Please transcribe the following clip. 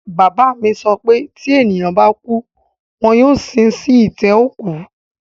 Bàbá mi sọ pé tí ènìyàn bá kú, wọn yóò sin wọ́n sí itẹ́ òkú